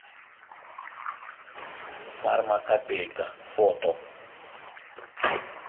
фармакопейка фото